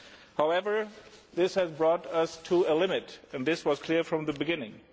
However, this has brought us to a limit, and this was clear from the beginning.